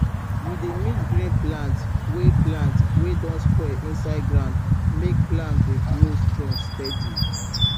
we dey mix green plant wey plant wey don spoil inside ground make plant dey grow strong steady